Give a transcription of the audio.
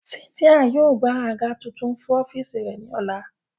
Cynthia yóò gba aga tuntun fun ọfiisi rẹ ni ọla.